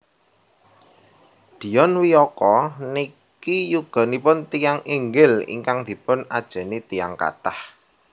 Dion Wiyoko niki yuganipun tiyang inggil ingkang dipun ajeni tiyang kathah